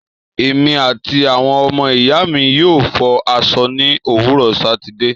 Èmi àti àwọn ọmọ ìyáàmi yóò fọ aṣọ ní òwúrò Sátìde.